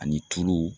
Ani tulu